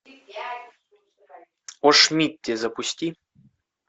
о шмидте запусти